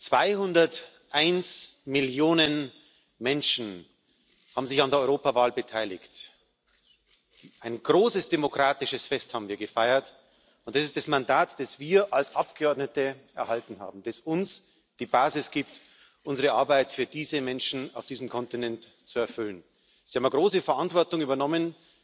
201 Millionen Menschen haben sich an der Europawahl beteiligt, ein großes demokratisches Fest haben wir gefeiert, und das ist das Mandat, das wir als Abgeordnete erhalten haben, das uns die Basis gibt, unsere Arbeit für diese Menschen auf diesem Kontinent zu erfüllen Sie haben eine große Verantwortung übernommen.